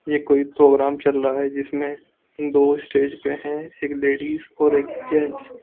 ये कोई प्रोग्राम चल रहा है जिसमे दो स्टेज पर है एक लेडीज और एक जेंट्स --